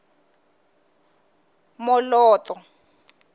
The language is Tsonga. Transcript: moloto